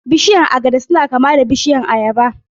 Bishiyun agada suna kama da bishiyun ayaba